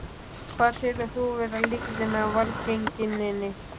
Hvað telur þú vera lykilinn að velgengninni?